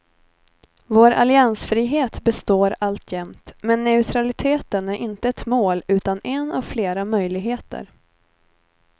Vår alliansfrihet består alltjämt, men neutraliteten är inte ett mål utan en av flera möjligheter.